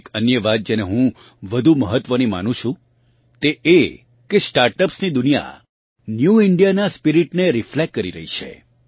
એક અન્ય વાત જેને હું વધુ મહત્વની માનું છું તે એ કે સ્ટાર્ટઅપ્સની દુનિયા ન્યૂ ઇન્ડિયાનાં સ્પિરીટને રિફ્લેક્ટ કરી રહી છે